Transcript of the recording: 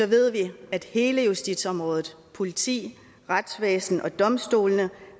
ved vi at hele justitsområdet politiet retsvæsenet og domstolene